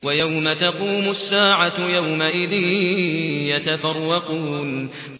وَيَوْمَ تَقُومُ السَّاعَةُ يَوْمَئِذٍ يَتَفَرَّقُونَ